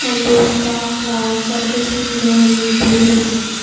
And those dark clouds and just looking very beautiful.